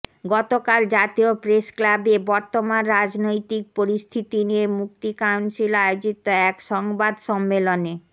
গতকাল জাতীয় প্রেসক্লাবে বর্তমান রাজনৈতিক পরিস্থিতি নিয়ে মুক্তি কাউন্সিল আয়োজিত এক সংবাদ সম্মেলনে